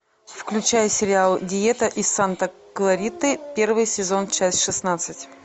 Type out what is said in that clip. включай сериал диета из санта клариты первый сезон часть шестнадцать